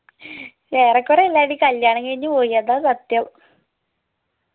ഏറെക്കൊറേ എല്ലാർടെയും കല്യാണംകഴിഞ്ഞ് പോയി അതാ സത്യം